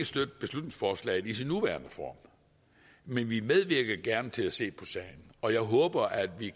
støtte beslutningsforslaget i dets nuværende form men vi medvirker gerne til at se på sagen og jeg håber at vi